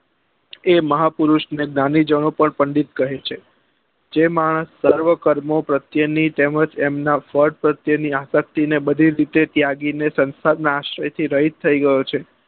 એ મહા પુરુષ ને દાનીજહ પણ પંડિત કહે છે જે માનસ સર્વો કર્મ પ્રત્યે ની તેમજ એમના વટ પ્રત્યે ને આપત્તિ ને બધી રીતે ત્યાગી ને આશ્રય થી રહિત થઇ ગયો છે